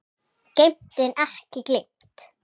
Geymt en ekki gleymt!